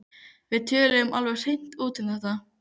Við töluðum alveg hreint út um þetta.